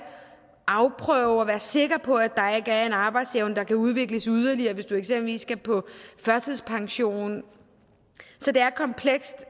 afprøve og være sikre på at der ikke er en arbejdsevne der kan udvikles yderligere hvis du eksempelvis skal på førtidspension så det er komplekst